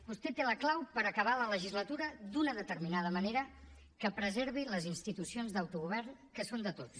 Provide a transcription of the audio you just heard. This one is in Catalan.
vostè té la clau per acabar la legislatura d’una determinada manera que preservi les institucions d’autogovern que són de tots